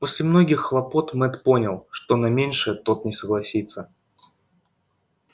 после многих хлопот мэтт понял что на меньшее тот не согласится